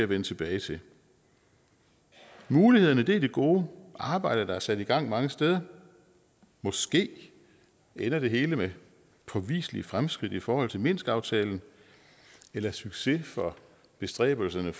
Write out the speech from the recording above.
vende tilbage til mulighederne er det gode arbejde der er sat i gang mange steder måske ender det hele med påviselige fremskridt i forhold til minsk aftalen eller succes for bestræbelserne